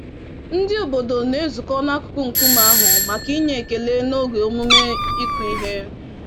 Ndị obodo na-ezukọ n'akụkụ nkume ahụ, maka inye ekele, n'oge emume ịkụ ihe.